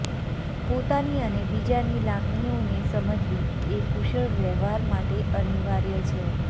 પોતાની અને બીજાની લાગણીઓને સમજવી એ કુશળ વ્યવહાર માટે અનિવાર્ય છે